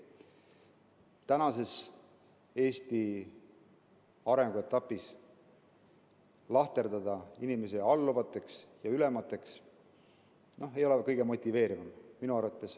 Eesti tänases arenguetapis lahterdada inimesi alluvateks ja ülemateks ei ole kõige motiveerivam.